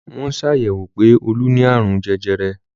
Wọ́n sàyẹ̀wò pé Olú ni àrùn jẹjẹrẹ.